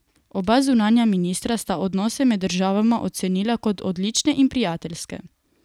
Oba zunanja ministra sta odnose med državama ocenila kot odlične in prijateljske.